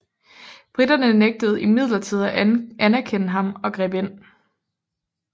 Briterne nægtede imidlertid at anerkende ham og greb ind